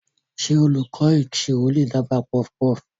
Ṣé olùkọ́ ìṣirò lè dábàá puffpuff?